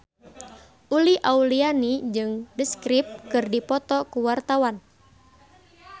Uli Auliani jeung The Script keur dipoto ku wartawan